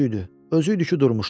Özü idi ki, durmuşdu.